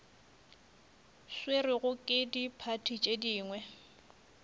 swerwego ke diphathi tše dingwe